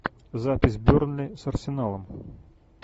запись бернли с арсеналом